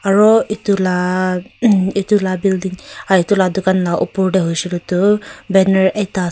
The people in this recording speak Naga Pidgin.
aru etu la mh etu la building ah etu la dukan la oper te hoishey koi le toh banner ekta ase.